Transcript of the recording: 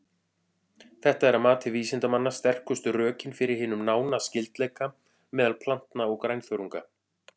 Þetta er að mati vísindamanna sterkustu rökin fyrir hinum nána skyldleika meðal plantna og grænþörunga.